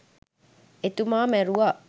එතුමා මැරුව